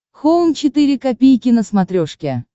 хоум четыре ка на смотрешке